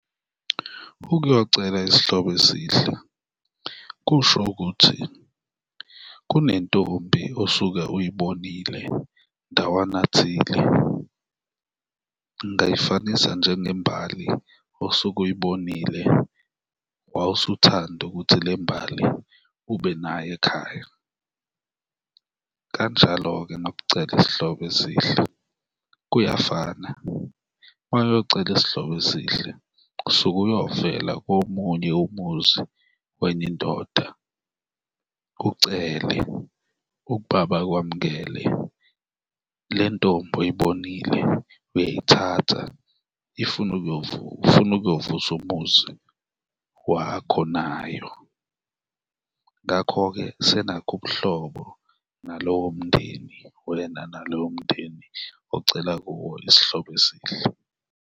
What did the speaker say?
Ukuyocela isihlobo esihle kusho ukuthi kunentombi osuke uyibonile ndawana thile, ngingayifanisa njengembali osuke uyibonile wawusuthanda ukuthi le mbali ubenayo ekhaya, kanjalo-ke nokucela isihlobo esihle kuyafana. Ma uyocela isihlobo esihle usuke uyovela komunye umuzi wenye indoda, ucele ukuba bakwamukele, le ntombi oyibonile uyayithatha ufuna ukuyovusa umuzi wakho nayo, ngakho-ke senakha ubuhlobo nalowo mndeni, wena nalowo mndeni ocela kuwo isihlobo esihle.